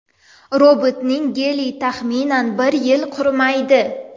Robotning geli, taxminan, bir yil qurimaydi.